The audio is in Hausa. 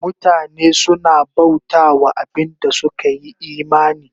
Mutane suna bauta wa abin da suka yi imani